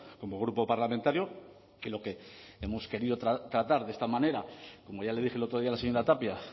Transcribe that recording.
como grupo parlamentario que lo que hemos querido tratar de esta manera como ya le dije el otro día a la señora tapia